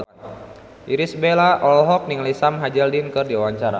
Irish Bella olohok ningali Sam Hazeldine keur diwawancara